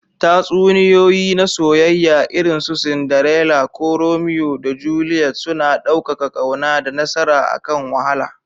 Tatsuniyoyi na soyayya, irin su Cinderella ko Romeo da Juliet, suna ɗaukaka ƙauna da nasara akan wahala.